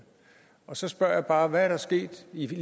så spørger jeg bare hvad er der sket i